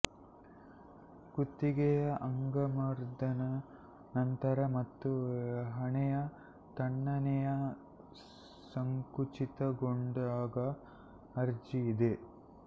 ಕುತ್ತಿಗೆಯ ಅಂಗಮರ್ದನ ನಂತರ ಮತ್ತು ಹಣೆಯ ತಣ್ಣನೆಯ ಸಂಕುಚಿತಗೊಂಡಾಗ ಅರ್ಜಿ ಇದೆ